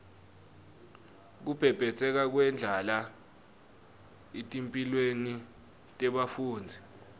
kubhebhetseka kwendlala etimphilweni tebafundzi